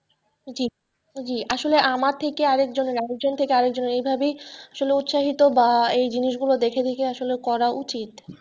জি জি আসলে আমার থেকে আরেকজনের আরেকজন থেকে আরেকজনের এইভাবেই আসলে উৎসাহিত বা এই জিনিসগুলো দেখে দেখে আসলে করা উচিত।